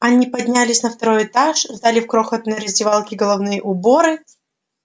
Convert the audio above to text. они поднялись на второй этаж сдали в крохотной раздевалке головные уборы